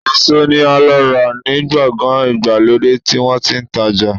Eso ni a lo ra ni gbogan igbalode ti won ti n taja